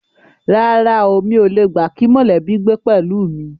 Rárá o, mi ò le gbà kí mọ̀lẹ́bí gbé pẹ̀lú mi